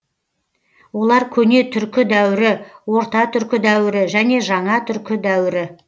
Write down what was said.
олар көне түркі дәуірі орта түркі дәуірі және жаңа түркі дәуірі